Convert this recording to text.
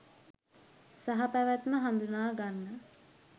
සහපැවැත්ම හඳුනා ගන්න